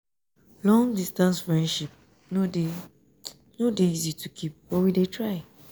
long-distance friendship no dey no dey easy to keep but we dey try.